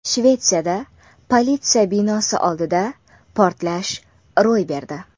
Shvetsiyada politsiya binosi oldida portlash ro‘y berdi.